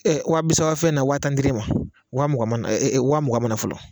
Ɛɛ Waa bisabafɛn na waa tan dir'e ma waa mugan e e waa mugan mana fɔlɔ